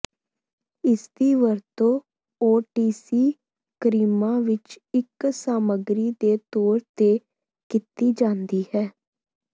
ਇਸਦੀ ਵਰਤੋਂ ਓਟੀਸੀ ਕਰੀਮਾਂ ਵਿੱਚ ਇੱਕ ਸਾਮੱਗਰੀ ਦੇ ਤੌਰ ਤੇ ਕੀਤੀ ਜਾਂਦੀ ਹੈ